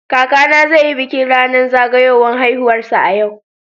Kakana zai yi bikin zagayowar ranar haihuwarsa a yau.